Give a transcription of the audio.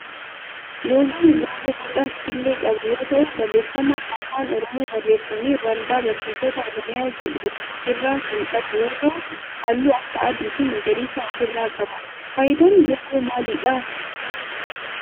loogoon loogoo boca killee qabu yoo ta'u barreeffama afaan oromoon barreeffamee waldaa barreessitoota oromiyaa jedhu of irraa kan qabu yoo ta'u halluu akka adii fi magariisa of irraa qaba. faayidaan loogoo maalidha?